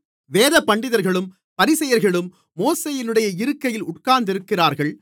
வேதபண்டிதர்களும் பரிசேயர்களும் மோசேயினுடைய இருக்கையில் உட்கார்ந்திருக்கிறார்கள்